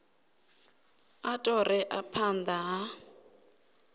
a ṱo ḓea phanḓa ha